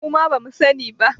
Muma bamu sani ba